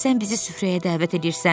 Sən bizi süfrəyə dəvət eləyirsən.